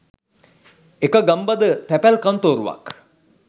එක ගම්බද තැපැල් කන්තෝරුවක්